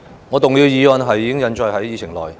我動議的議案已印載在議程內。